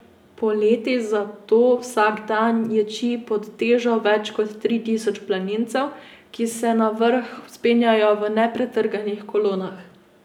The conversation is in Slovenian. Poleti zato vsak dan ječi pod težo več kot tri tisoč planincev, ki se na vrh vzpenjajo v nepretrganih kolonah.